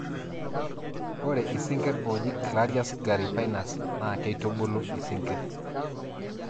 ore isinkir ooji clarias gariepinus naa keitubulu isinkir